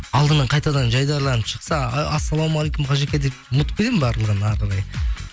алдыңнан қайтадан жайдарланып шықса ы ассалаумағалейкум қажеке деп ұмытып кетемін барлығын әрі қарай